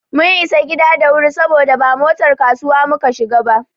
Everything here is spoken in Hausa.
Mun isa gida da wuri saboda ba motar kasuwa muka shiga ba.